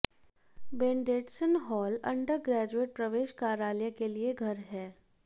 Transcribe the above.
Bendetson hall undergraduate प्रवेश कार्यालय के लिए घर है